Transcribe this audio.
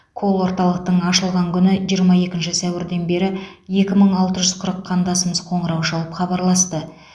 колл орталықтың ашылған күні жиырма екінші сәуірден бері екі мың алты жүз қырық қандасымыз қоңырау шалып хабарласты